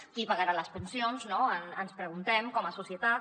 qui pagarà les pensions no ens preguntem com a societat